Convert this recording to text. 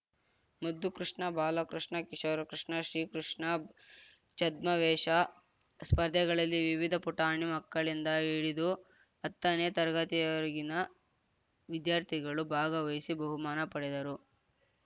ಮುದ್ದುಕೃಷ್ಣ ಬಾಲಕೃಷ್ಣ ಕಿಶೋರಕೃಷ್ಣ ಶ್ರೀಕೃಷ್ಣ ಛದ್ಮವೇಷ ಸ್ಪರ್ಧೆಗಳಲ್ಲಿ ವಿವಿಧ ಪುಟಾಣಿ ಮಕ್ಕಳಿಂದ ಹಿಡಿದು ಹತ್ತನೇ ತರಗತಿವರೆಗಿನ ವಿದ್ಯಾರ್ಥಿಗಳು ಭಾಗವಹಿಸಿ ಬಹುಮಾನ ಪಡೆದರು